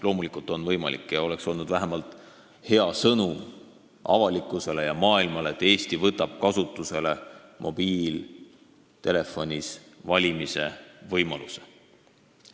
Loomulikult on see võimalik ja see oleks olnud vähemalt hea sõnum avalikkusele ja maailmale, et Eesti võtab kasutusele mobiiltelefonis hääletamise võimaluse.